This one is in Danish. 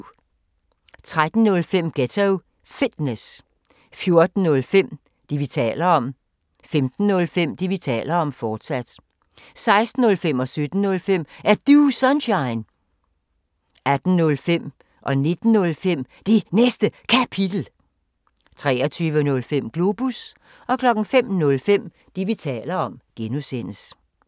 13:05: Ghetto Fitness 14:05: Det, vi taler om 15:05: Det, vi taler om, fortsat 16:05: Er Du Sunshine? 17:05: Er Du Sunshine? 18:05: Det Næste Kapitel 19:05: Det Næste Kapitel, fortsat 23:05: Globus 05:05: Det, vi taler om (G)